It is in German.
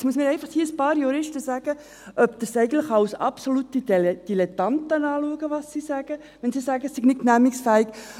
Jetzt müssen mir hier einfach ein paar Juristen sagen, ob sie die Leute des BSV für absolute Dilettanten halten, weil sie sagen, es sei nicht genehmigungsfähig.